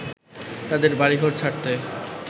তাদের বাড়িঘর ছাড়তে